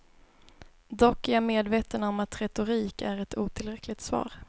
Dock är jag medveten om att retorik är ett otillräckligt svar.